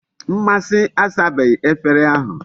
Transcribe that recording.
Mmasi asabeghi efere ahu